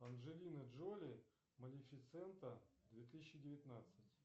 анджелина джоли малифисента две тысячи девятнадцать